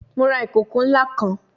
Mo ra ikoko nla kan